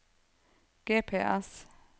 GPS